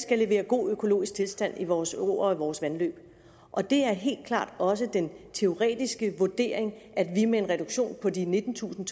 at levere god økologisk tilstand i vores åer og vores vandløb og det er helt klart også den teoretiske vurdering at vi med en reduktion på de nittentusind